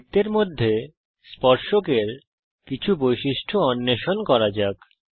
বৃত্তের মধ্যে স্পর্শকের কিছু বৈশিষ্ট্য অন্বেষণ করা যাক